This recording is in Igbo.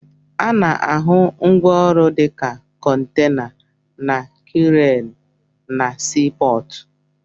Ana-ahụ ngwaọrụ dịka kọntena na kreenụ na sii pọọtụ.